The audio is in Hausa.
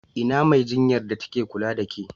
Ina Mai jinyar da ta ke kula da ƙe?